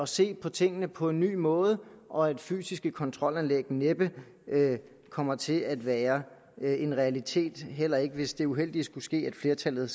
se på tingene på en ny måde og at fysiske kontrolanlæg næppe kommer til at være en realitet heller ikke hvis det uheldige skulle ske at flertallet